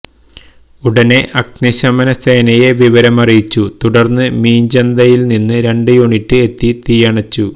ഉടന് അഗ്നിശമന സേനയെ വിവരമറിയിച്ചു തടര്ന്ന് മീഞ്ചന്തയില് നിന്നു രണ്ട് യൂണിറ്റ് എത്തി തീയണച്ചു